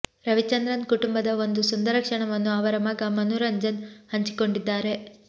ರವಿಚಂದ್ರನ್ ಕುಟುಂಬದ ಒಂದು ಸುಂದರ ಕ್ಷಣವನ್ನು ಅವರ ಮಗ ಮನುರಂಜನ್ ಹಂಚಿಕೊಂಡಿದ್ದಾರೆ